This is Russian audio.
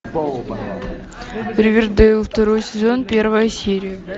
ривердэйл второй сезон первая серия